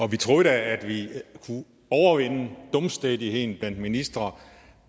og vi troede da at vi kunne overvinde dumstædigheden blandt ministre